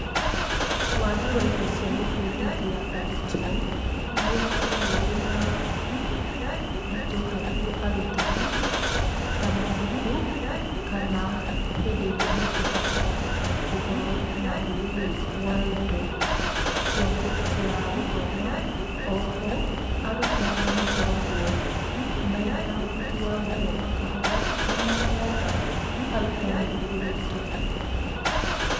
Wagi wa indo cia gũbundithia arutwo nĩ ũkoragwo wĩna moritũ harĩ arutani, ta mabuku kana hĩndĩ ĩrĩa megũbatara gũkorwo na ũhũthĩri wa indo cia gũthoma. Oho arutwo arĩa makoragwo mena ũhoti wa gũthoma kahora, nĩ maheaga arutani ũritũ.